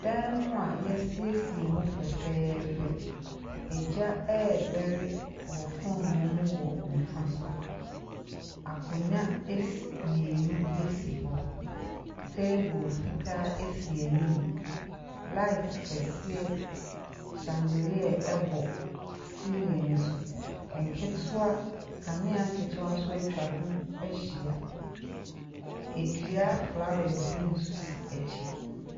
Dan mu a yɛasiesie mu fɛfɛɛfɛ. Agya redɛre wɔ foonoo mu wɔ nifa so. Akonnwa es Mmienu hɔ. Table fitaa esi anim. Light kɛseɛ shabolɛɛ bɔ siilin no so. Kanea nketeɛ nso atwa ho ahyia. Edua flowers nso si akyi.